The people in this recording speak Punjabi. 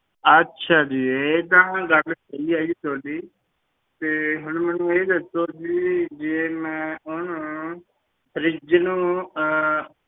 ਅੱਛਾ ਜੀ ਇਹ ਤਾਂ ਗੱਲ ਸਹੀ ਹੈ ਜੀ ਤੁਹਾਡੀ, ਤੇ ਹੁਣ ਮੈਨੂੰ ਇਹ ਦੱਸੋ ਜੀ ਜੇ ਮੈਂ ਉਹਨੂੰ fridge ਨੂੰ ਅਹ